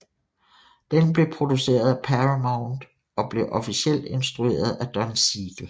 Den blev produceret af Paramount og blev officielt instrueret af Don Siegel